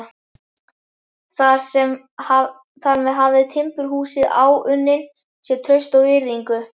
Þar með hafði timburhúsið áunnið sér traust og virðingu.